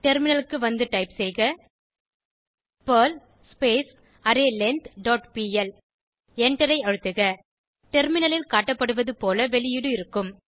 டெர்மினலுக்கு வந்து டைப் செய்க பெர்ல் அரேலெங்த் டாட் பிஎல் எண்டரை அழுத்துக டெர்மினலில் காட்டப்படுவது போல வெளியீடு இருக்கும்